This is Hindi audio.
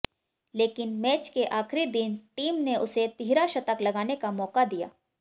लेकिन मैच के आखिरी दिन टीम ने उसे तिहरा शतक लगाने का मौका दिया